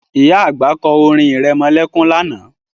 Ìyá àgbà kọ́ orin irẹmọlẹ́kún lánàá